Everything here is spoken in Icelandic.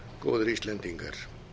góðir íslendingar